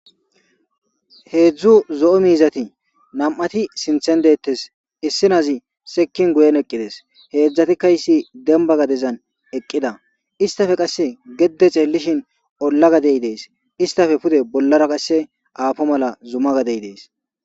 Hezhzhu zo'o miizati nam'ti sinththan detess issinezi seekin guyen eqqides hezhzhattika dembba gadden eqqida issittappe qasse geede xeelishin olla gadey dess pudde bollara qasse zumma gaddey dess.